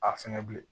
A fɛngɛ bilen